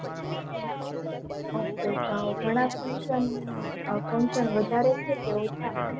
ok તો ઘણા function વધારે છે કે ઓછા